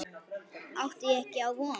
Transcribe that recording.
Átti ég ekki á von?